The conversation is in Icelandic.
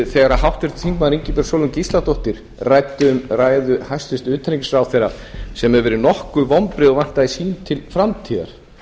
þegar háttvirtur þingmaður ingibjörg sólrún gísladóttir ræddi um ræðu hæstvirts utanríkisráðherra sem hefur verið nokkuð vonbrigði og vantar þing til framtíðar